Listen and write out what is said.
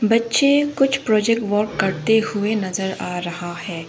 बच्चे कुछ project work करते हुए नजर आ रहा हैं।